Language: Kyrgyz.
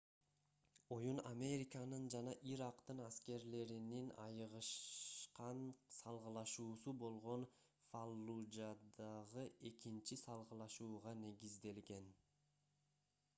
оюн американын жана ирактын аскерлеринин айыгышкан салгылашуусу болгон фаллужадагы экинчи салгылашууга негизделген